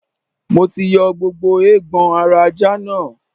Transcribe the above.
Mo ti yọ gbogbo eegbon ara ajá náà.